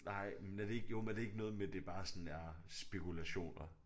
Nej men er det ikke jo men er det ikke noget med det bare sådan er spekulationer